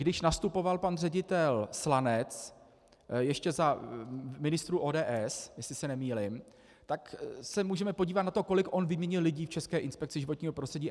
Když nastupoval pan ředitel Slanec, ještě za ministrů ODS, jestli se nemýlím, tak se můžeme podívat na to, kolik on vyměnil lidí v České inspekci životního prostředí.